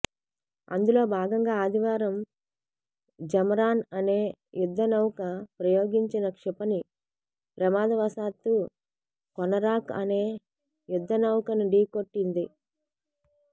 అందులో భాగంగా ఆదివారం జమరాన్ అనే యుద్ధ నౌక ప్రయోగించిన క్షిపణి ప్రమాదవశాత్తూ కొనరాక్ అనే యుద్ధ నౌకను ఢీకొట్టింది